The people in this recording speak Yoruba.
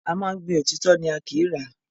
A máa ń gbin òtítọ́ ni, a kìí rà á.